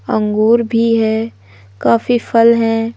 अंगूर भी हैं काफी फल हैं।